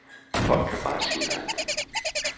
Folk kan bare sig nej.